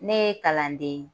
Ne ye kalanden ye